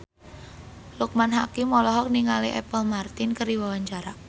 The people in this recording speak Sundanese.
Loekman Hakim olohok ningali Apple Martin keur diwawancara